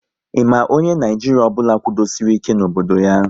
Ị ma onye Naijiria ọbụla kwudosori ike n'obodo ya?